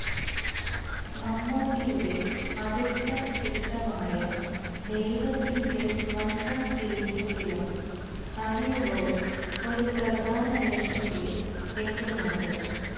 മമ്മൂട്ടിയുടെ അടുത്ത ചിത്രമായ ദൈവത്തിന്റെ സ്വന്തം ക്ലീറ്റസിലും ഹണി റോസ് ഒരു പ്രധാന വേഷത്തില് എത്തുന്നുണ്ട്